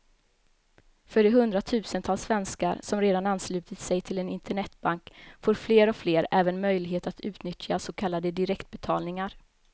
För de hundratusentals svenskar som redan anslutit sig till en internetbank får fler och fler även möjlighet att utnyttja så kallade direktbetalningar.